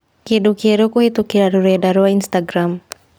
kĩndũ kĩerũ kũhītũkīra rũrenda rũa Instagram